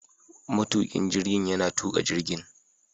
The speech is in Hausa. Matukin jirgin yana tuka jirgin